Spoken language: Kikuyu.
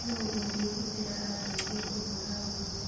Nũũ ũngĩrutĩra andeithie kũhũra nguo?